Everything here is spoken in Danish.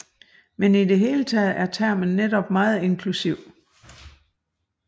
Men i det hele taget er termen netop meget inklusiv